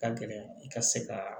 Ka gɛlɛn i ka se ka